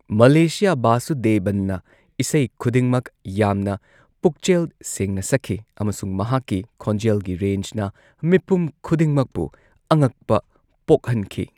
ꯃꯂꯦꯁꯤꯌꯥ ꯚꯥꯁꯨꯗꯦꯕꯟꯅ ꯏꯁꯩ ꯈꯨꯗꯤꯡꯃꯛ ꯌꯥꯝꯅ ꯄꯨꯛꯆꯦꯜ ꯁꯦꯡꯅ ꯁꯛꯈꯤ ꯑꯃꯁꯨꯡ ꯃꯍꯥꯛꯀꯤ ꯈꯣꯟꯖꯦꯜꯒꯤ ꯔꯦꯟꯖꯅ ꯃꯤꯄꯨꯝ ꯈꯨꯗꯤꯡꯃꯛꯄꯨ ꯑꯉꯛꯄ ꯄꯣꯛꯍꯟꯈꯤ꯫